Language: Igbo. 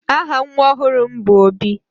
aha nwa m ọhụrụ bu Obi